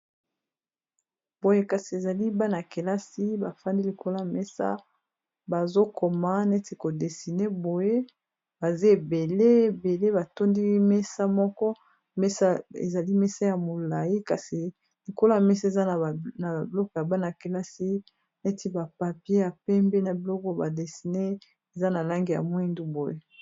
boye kasi ezali bana yakelasi bafandi likolo ya mesa bazokoma neti ko desiner boye baza ebele ,ebele batondi mesa moko mesa ezali mesa ya molai kasi likolo mesa eza na biloko ya bana kelasi neti ba papier ya pembe na biloko ba desiner eza na langi ya mwindu boye